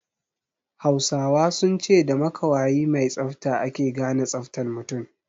Hausawa sun ce da makawayi mai tsafta ake gane tsaftan mutun